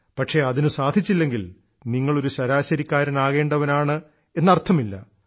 പക്ഷേ അതിനു സാധിച്ചില്ലെടങ്കിൽ നിങ്ങൾ ഒരു ശരാശരിക്കാരനാകേണ്ടവനാണെന്ന് അർത്ഥമില്ല